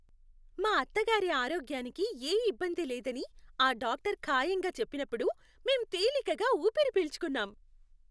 మా అత్తగారి ఆరోగ్యానికి ఏ ఇబ్బంది లేదని ఆ డాక్టర్ ఖాయంగా చెప్పినప్పుడు మేం తేలికగా ఊపిరిపీల్చుకున్నాం.